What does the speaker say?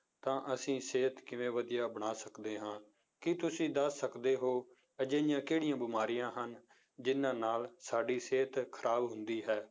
ਤਾਂ ਅਸੀਂ ਸਿਹਤ ਕਿਵੇਂ ਵਧੀਆ ਬਣਾ ਸਕਦੇ ਹਾਂ ਕੀ ਤੁਸੀਂ ਦੱਸ ਸਕਦੇ ਹੋ ਅਜਿਹੀਆਂ ਕਿਹੜੀਆਂ ਬਿਮਾਰੀਆਂ ਹਨ, ਜਿੰਨਾਂ ਨਾਲ ਸਾਡੀ ਸਿਹਤ ਖ਼ਰਾਬ ਹੁੰਦੀ ਹੈ?